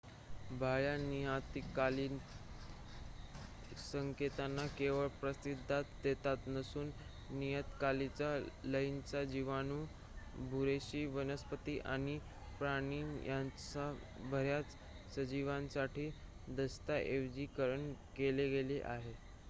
बाह्य नियतकालिक संकेतांना केवळ प्रतिसाद देत नसून नियतकालिक लयींंचे जीवाणू बुरशी वनस्पती आणि प्राणी यांच्यासह बर्‍याच सजीवांसाठी दस्तऐवजीकरण केले गेले आहे